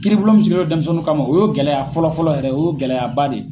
Kiribulon mun sigilen don dɛnmisɛnnin kama , o y'o gɛlɛya fɔlɔ fɔlɔ yɛrɛ ,o ye gɛlɛyaba de ye.